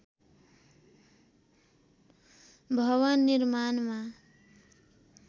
भवन निर्माणमा